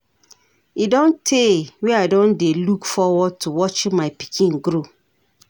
E don tey wey I don dey look forward to watching my pikin grow.